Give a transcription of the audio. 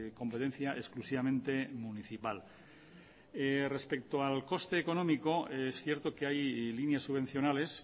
competencia exclusivamente municipal respecto al coste económico es cierto que hay líneas subvencionales